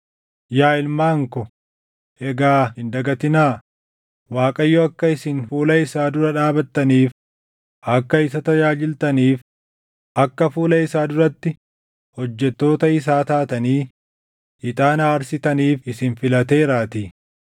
Yaa ilmaan ko, egaa hin dagatinaa; Waaqayyo akka isin fuula isaa dura dhaabattaniif, akka isa tajaajiltaniif, akka fuula isaa duratti hojjettoota isaa taatanii ixaana aarsitaniif isin filateeraatii.”